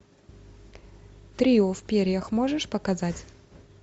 трио в перьях можешь показать